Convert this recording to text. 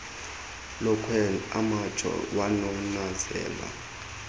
lokhwe amtsho wananazela